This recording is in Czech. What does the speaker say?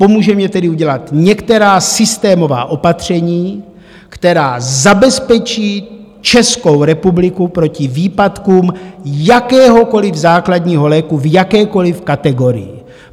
Pomůže mně tedy udělat některá systémová opatření, která zabezpečí Českou republiku proti výpadkům jakéhokoliv základního léku v jakékoliv kategorii.